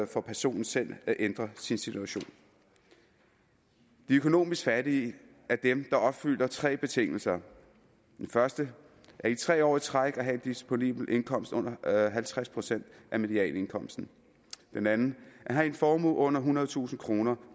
for personen selv at ændre sin situation de økonomisk fattige er dem der opfylder tre betingelser den første i tre år i træk at have en disponibel indkomst under halvtreds procent af medianindkomsten den anden at have en formue under ethundredetusind kroner